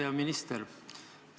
Hea minister!